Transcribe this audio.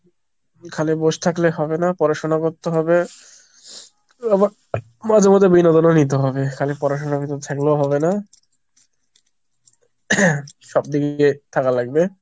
খালি বসে থাকলে হবে না পড়াশোনা করতে হবে, মাঝে মাঝে বিনোদনে নিতে হবে। খালি পড়াশুনার ভিতর থাকলেও হবে না, সব দিকে গিয়ে থাকা লাগবে।